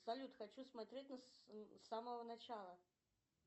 салют хочу смотреть с самого начала